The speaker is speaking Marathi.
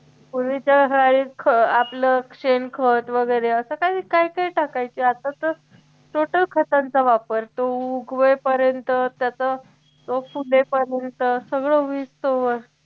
पूर्वीचं हा एक ख आपलं शेणखत वैगेरे असं काही काही टाकायचे आता तर total खतांचा वापर तो उगवेपर्यंत त्याचं रोप फुटेपर्यंत सगळं होईस्तोवर